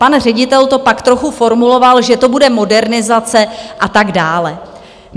Pan ředitel to pak trochu formuloval, že to bude modernizace a tak dále.